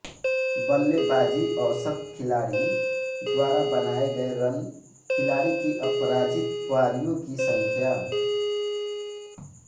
बल्लेबाज़ी औसत खिलाड़ी द्वारा बनाये गये रन खिलाड़ी की अपराजित पारियों की संख्या